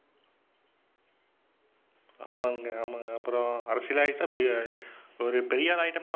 ஆமாங்க, ஆமாங்க. அப்புறம் அரசியலாயிட்டா ஒரு பெரியாளாயிட்டோம்னா